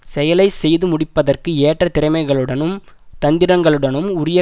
செயலை செய்து முடிப்பதற்கு ஏற்ற திறமைகளுடனும் தந்திரங்களுடனும் உரிய